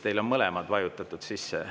Teil on mõlemad vajutatud sisse.